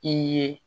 I ye